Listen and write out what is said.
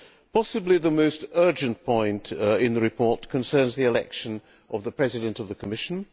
Possibly the most urgent point in the report concerns the election of the President of the Commission.